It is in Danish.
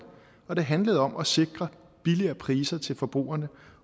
og det handlede om at sikre billigere priser til forbrugerne